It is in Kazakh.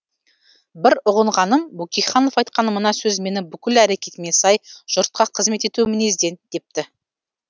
бір ұғынғаным бөкейханов айтқан мына сөз мені бүкіл әрекетіме сай жұртқа қызмет ету мінезден депті